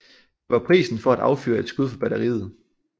Det var prisen for at affyre et skud fra batteriet